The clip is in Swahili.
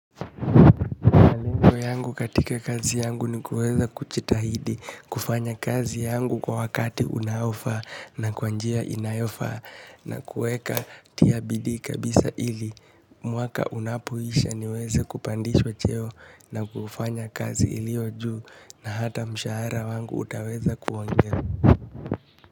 Malengo yangu katika kazi yangu ni kuweza kujitahidi, kufanya kazi yangu kwa wakati unaofaa na kwa njia inayofaa na kueka tia bidii kabisa ili. Mwaka unapoisha niweza kupandishwa cheo na kufanya kazi iliyo juu na hata mshahara wangu utaweza kuonge.